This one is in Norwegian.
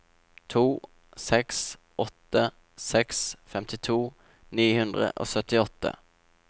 to seks åtte seks femtito ni hundre og syttiåtte